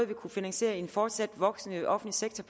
vi kunne finansiere en fortsat voksende offentlig sektor